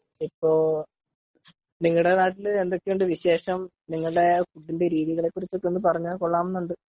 ഇപ്പോ.നിങ്ങടെ നാട്ടിൽ എന്തൊക്കെയുണ്ട് വിശേഷം .നിങ്ങളുടെ രീതികളെ കുറിച്ച് എല്ലാം പറഞ്ഞാൽ കൊള്ളാം എന്നുണ്ട് .